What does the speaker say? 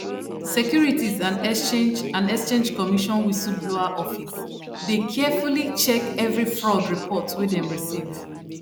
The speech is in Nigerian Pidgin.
securities and exchange and exchange commission whistleblower office dey carefully check every fraud report wey dem receive